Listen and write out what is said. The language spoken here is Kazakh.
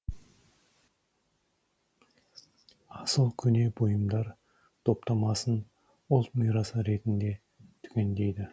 асыл көне бұйымдар топтамасын ұлт мирасы ретінде түгендейді